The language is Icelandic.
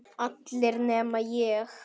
Allir nema ég.